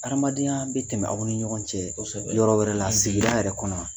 Hadamadenya bɛ tɛmɛ aw ni ɲɔgɔn cɛ kɔsɛbɛ yɔrɔ wɛrɛ la sigi yɛrɛ kɔnɔ.